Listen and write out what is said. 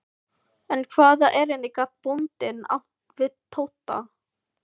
En hvaða erindi gat bóndinn átt við Tóta?